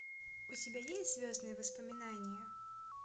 у тебя есть звездные воспоминания